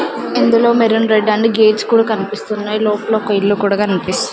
ఇందులో maroon red and gates కూడా కన్పిస్తున్నాయ్ లోపల ఒక ఇల్లు కూడా కన్పిస్ --